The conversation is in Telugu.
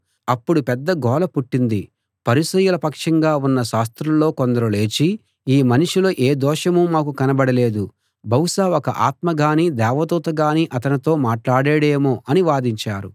అప్పుడు పెద్ద గోల పుట్టింది పరిసయ్యుల పక్షంగా ఉన్న శాస్త్రుల్లో కొందరు లేచి ఈ మనిషిలో ఏ దోషమూ మాకు కనబడలేదు బహుశా ఒక ఆత్మగానీ దేవదూతగానీ అతనితో మాట్లాడాడేమో అని వాదించారు